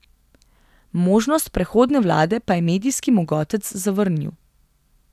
Možnost prehodne vlade pa je medijski mogotec zavrnil.